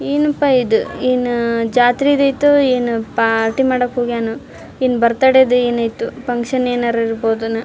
ಏನ್ ಅಪ್ಪಾ ಈದ್ ಏನ್ ಜಾತ್ರಿದೈತೋ ಏನೋ ಪಾರ್ಟಿ ಮಾಡಕ್ ಹೋಗ್ಯಾನ ಇನ್ ಬರ್ತ್ ಡೇ ಏನ್ ಆಯ್ತೋ ಫಕ್ಷನ್ ಏನಾರ್ ಇರಬಹುದು ಏನೋ.